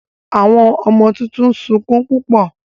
Àwọn ọmọ títún sọkún púpọ.